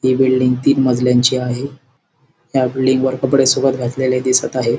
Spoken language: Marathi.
ती बिल्डिंग तीन मजल्यांची आहे ह्या बिल्डिंग वर कपडे सुकत घातलेली दिसत आहेत.